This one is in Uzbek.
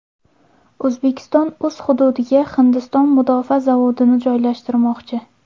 O‘zbekiston o‘z hududiga Hindiston mudofaa zavodini joylashtirmoqchi.